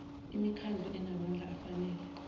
imikhandlu enamandla afanele